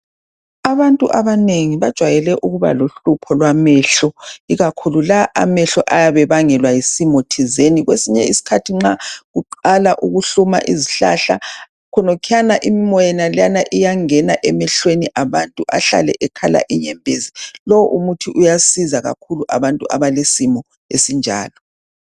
Abantu abanengi bajwayele ukuba lohlupho lwamehlo ikakhulu la amehlo ayabe ebangelwa yisimo thizeni kwesinye isikhathi nxa kuqala ukhuhluma izihlahla khonokwana imimoya yenaleyana iyangena emehlweni abantu behlale bekhala inyembezi lowu umuthi uyasiza kakhulu abantu abale simo esinjalo